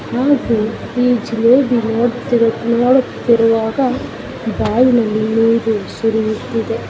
ಹಾಗೆ ಈ ಜಿಲೇಬಿ ನೋಡ್ತಿರು ನೋಡುತ್ತಿರುವಾಗ ಬಾಯಿನಲ್ಲಿ ನೀರು ಸುರಿಯುತ್ತಿದೆ.